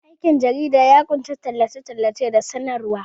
Aikin jarida ya ƙunshi tallace-tallace da sanarwa.